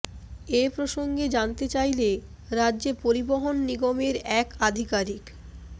এ প্রসঙ্গে জানতে চাইলে রাজ্য পরিবহণ নিগমের এক আধিকারিক